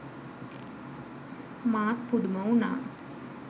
මාත් පුදුම උනා.